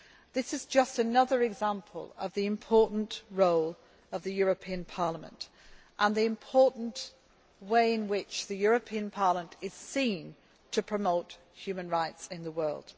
This is just another example of the important role of the European Parliament and the important way in which it is seen to promote human rights in the world.